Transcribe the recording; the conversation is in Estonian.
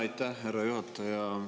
Aitäh, härra juhataja!